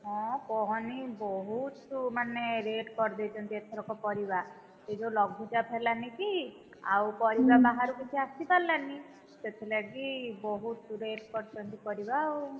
ହଁ କହନି ବହୁତ, ମାନେ rate କରିଦେଇଛନ୍ତି ଏଥରକ ପରିବା, ଏ ଯୋଉ ଲଘୁଚାପ ହେଲାନି କି, ଆଉ ପରିବା ବାହାରୁ କିଛି ଆସିପରିଲାନି, ସେଥି ଲାଗିବହୁତ rate କରିଛନ୍ତି ପରିବା ଆଉ,